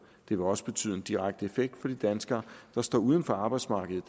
det vil også betyde en direkte effekt for de danskere der står uden for arbejdsmarkedet